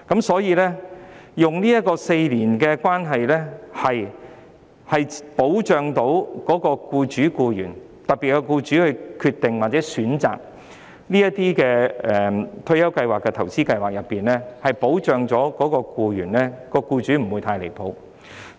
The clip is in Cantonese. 所以 ，4 年的服務期規定的確可以保障僱主和僱員；當僱主決定或選擇退休計劃和投資計劃時，不會太離譜，